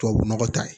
Tubabu nɔgɔ ta ye